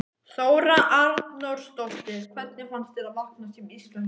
Þóra Arnórsdóttir: Hvernig fannst þér að vakna sem Íslendingur?